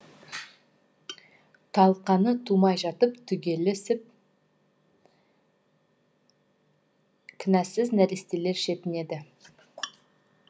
талқаны тумай жатып түгесіліп кінәсіз нәрестелер шетінеді